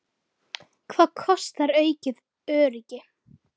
Randver Kári og Íris Anna.